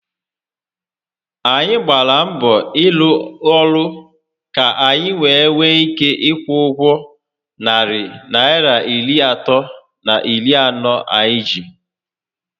Anyị gbàrà mbọ n'ịrụ ọrụ ka anyi were nwee ike ikwụ ụgwọ narị Naịra iri atọ na iri anọ anyị ji